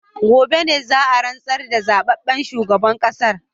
Gobe ne za a rantsar da zababben shugaban kasar